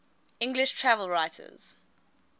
english travel writers